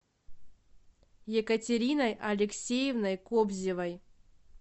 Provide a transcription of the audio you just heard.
екатериной алексеевной кобзевой